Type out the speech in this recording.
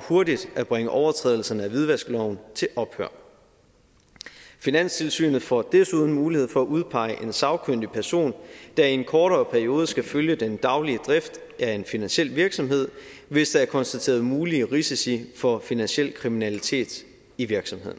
hurtigt at bringe overtrædelserne af hvidvaskloven til ophør finanstilsynet får desuden mulighed for at udpege en sagkyndig person der i en kortere periode skal følge den daglige drift af en finansiel virksomhed hvis der er konstateret mulige risici for finansiel kriminalitet i virksomheden